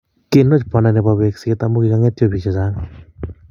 Kinwach banda nepo wekset amu kikangetio bik che chang